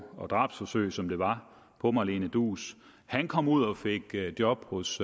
og drabsforsøg som det var på malene duus han kom ud og fik job hos